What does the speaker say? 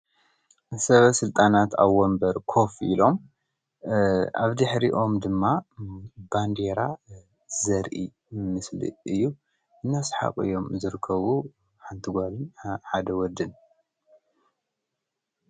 ሰብ ሥልጣናት ኣብ ወምበር ኮፍ ኢሎም ኣብ ቲ ኅሪኦም ድማ ባንድራ ዘርኢ ምስሊ እዩ እናስሓቕዮም ዘርከቡ ሓንቲጓልን ሓደ ወድን።